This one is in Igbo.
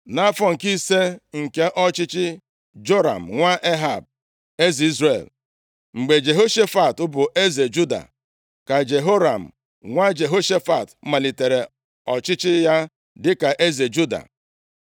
Nʼafọ nke ise nke ọchịchị Joram nwa Ehab eze Izrel, mgbe Jehoshafat bụ eze Juda, ka Jehoram nwa Jehoshafat malitere ọchịchị ya dịka eze Juda.